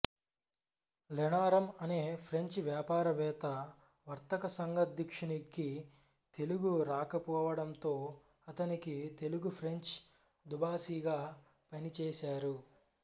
లెనారం అనే ఫ్రెంచి వ్యాపారవేత్త వర్తకసంఘాధ్యక్షునికి తెలుగు రాకపోవడంతో అతనికి తెలుగుఫ్రెంచి దుబాసీగా పనిచేశారు